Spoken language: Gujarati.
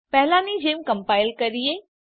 પહેલાની જેમ કમ્પાઈલ કરીએ